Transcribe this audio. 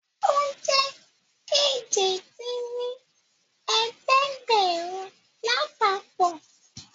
Ó jẹ́ èje dín ní ẹ̀ẹ́dẹ́gbẹ́rún lápapọ̀